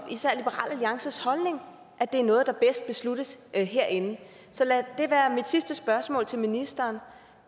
liberal alliances holdning at det er noget der bedst besluttes herinde så lad det være mit sidste spørgsmål til ministeren